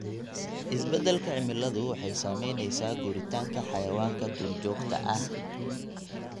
Isbeddelka cimiladu waxay saameynaysaa guuritaanka xayawaanka duurjoogta ah.